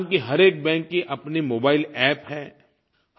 हिंदुस्तान के हर एक बैंक की अपनी मोबाइल अप्प है